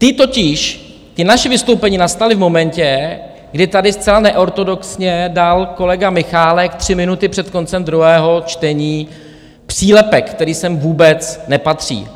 Ta totiž, ta naše vystoupení, nastala v momentě, kdy tady zcela neortodoxně dal kolega Michálek tři minuty před koncem druhého čtení přílepek, který sem vůbec nepatří.